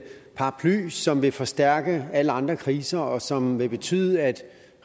paraply som vil forstærke alle andre kriser og som vil betyde at